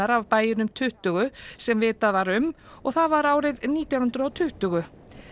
af bæjunum tuttugu sem vitað var um og það var árið nítján hundruð og tuttugu